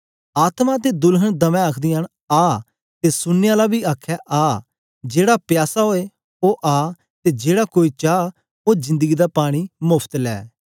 आत्मा ते दुल्हन दमै आखदियां न आ ते सुनने आला बी आखे आ जेहड़ा प्यासा ओए ओ आ ते जेड़ा कोई चा ओ जिन्दगीं दा पानी मोफत ले